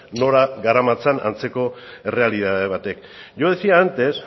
nora garamatzan antzeko errealitate batek yo decía antes